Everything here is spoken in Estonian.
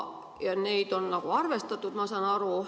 Neid on arvestatud, ma saan aru.